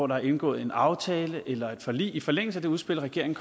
der er indgået en aftale eller et forlig i forlængelse af det udspil regeringen